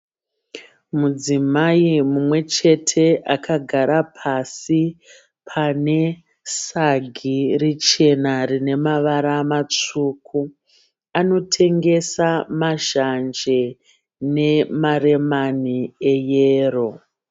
Mudzimai mumwechete akagara pasi pane sagi richena rine mavara matsvuku Anotengesa mazhanje nemaremani eyero.